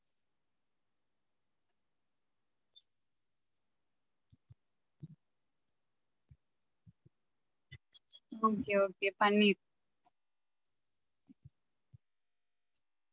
Okay okay paneer